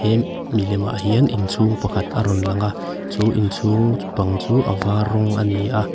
em milemah hian inchhung pakhat a rawn langa chu inchhung pang chu a var rawng ani a.